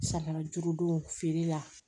Samiya duuru don feere la